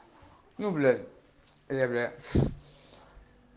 ну блять ээ бля